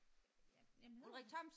Jamen hedder han